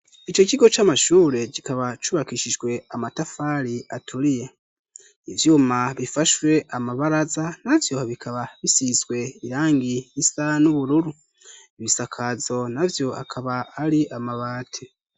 ico kigo c'amashure kikaba cubakishijwe amatafari aturiye ,ivyuma bifashwe amabaraza na vyo bikaba bisizwe irangi risa n'ubururu ,ibisakazo navyo akaba ari amabati.